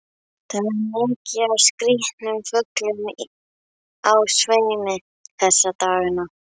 Það er mikið af skrýtnum fuglum á sveimi þessa dagana.